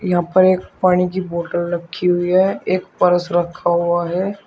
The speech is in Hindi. यहां पर एक पानी की बॉटल रखी हुई है एक पर्स रखा हुआ है।